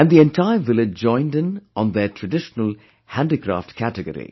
And the entire village joined in on their traditional handicraft category